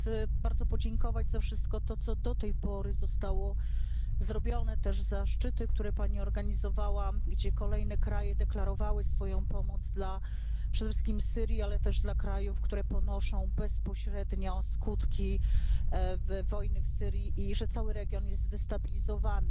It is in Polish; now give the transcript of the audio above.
Chcę bardzo podziękować za wszystko to, co do tej pory zostało zrobione, też za szczyty, które Pani organizowała, gdzie kolejne kraje deklarowały swoją pomoc przede wszystkim dla Syrii, ale też dla krajów, które ponoszą bezpośrednio skutki wojny w Syrii i że cały region jest zdestabilizowany.